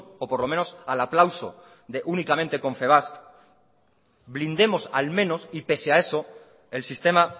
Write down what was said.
o por lo menos al aplauso de únicamente confebask blindemos al menos y pese a eso el sistema